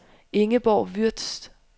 Ingeborg Würtz